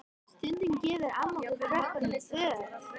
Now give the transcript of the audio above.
Stundum gefur amma okkur krökkunum föt.